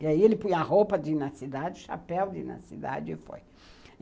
E aí ele põe a roupa de ir na cidade, o chapéu de ir na cidade e foi.